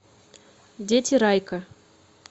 дети райка